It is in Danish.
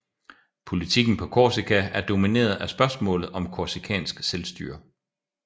Politikken på Korsika er domineret af spørgsmålet om korsikansk selvstyre